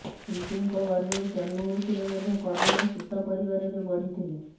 କୁନ୍ତୀଙ୍କ ଗର୍ଭରୁ ଜନ୍ମ ହୋଇଥିଲେ ମଧ୍ୟ କର୍ଣ୍ଣ ସୂତ ପରିବାରରେ ବଢିଥିଲେ